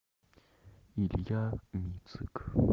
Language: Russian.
илья мицик